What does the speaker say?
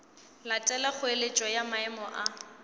latela kgoeletšo ya maemo a